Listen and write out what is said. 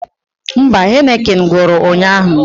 Mba, Heineken gwụrụ ụnyaahụ